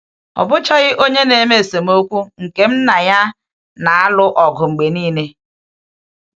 Ọ bụchaghị onye na-eme esemokwu nke m na ya na-alụ ọgụ mgbe niile.